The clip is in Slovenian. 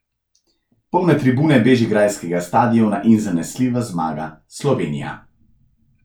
Polne tribune bežigrajskega štadiona in zanesljiva zmaga Slovenija.